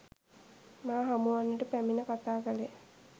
මා හමුවන්නට පැමිණ කථා කළේ